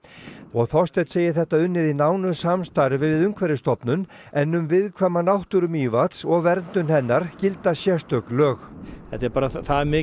Þorsteinn segir þetta unnið í nánu samstarfi við Umhverfisstofnun en um viðkvæma náttúru Mývatns og verndun hennar gilda sérstök lög þetta er bara það mikið